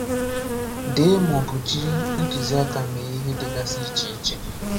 Dee ma ọ bụ jiri ntuziaka mee ihe dịgasi iche iche.